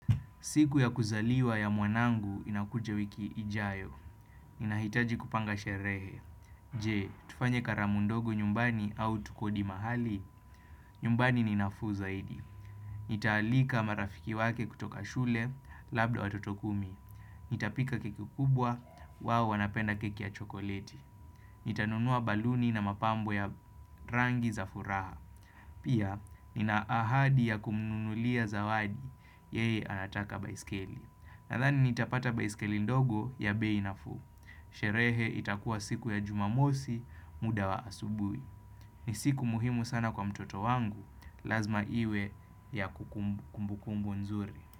Siku ya kuzaliwa ya mwanangu inakuja wiki ijayo. Inahitaji kupanga sherehe. Je, tufanye karamu ndogo nyumbani au tukodi mahali? Nyumbani ninafu zaidi. Nitaalika marafiki wake kutoka shule, labda watoto kumi. Nitapika keki kubwa, wao wanapenda keki ya chokoleti. Nitanunua baluni na mapambo ya rangi za furaha. Pia, ninaahadi ya kumnulia zawadi, yeye anataka baiskeli. Nadhani nitapata baisikeli ndogo ya bei nafu. Sherehe itakuwa siku ya jumamosi muda wa asubui. Ni siku muhimu sana kwa mtoto wangu. Lazma iwe ya kumbukumbu nzuri.